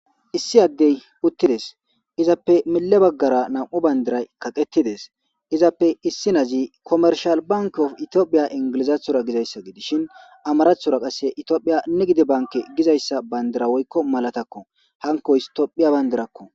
Issi adey utides izappe mile bagara na'u bandiray kaqetides izappe issinazi kometishal bank of itopia inglizatora gizaysa gidishin amaratora qase itopia nigid banke gizaysa bandira woyko malatako hankoy topiya bandirako.